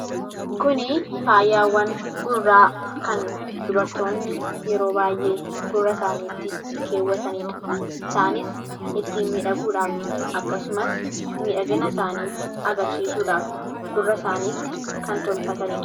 kuni faayyaawwan gurraa kan dubartoonni yeroo baay'ee gurra isaaniitti keewwataniidha isaanis ittin midhaguudhaaf akkasumas miidhagina isaanii agarsiisuudhaaf gurra isaaniitti kan tolfataniidha